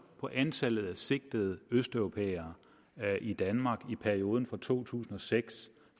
på antallet af sigtede østeuropæere i danmark i perioden fra to tusind og seks